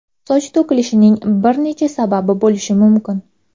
Soch to‘kilishining bir necha sababi bo‘lishi mumkin.